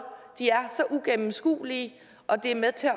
er så ugennemskuelige og det er med til